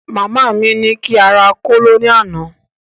Màmá ní kí n rà kóló ní àná